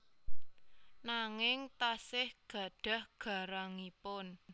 Nanging tasih gadhah garangipun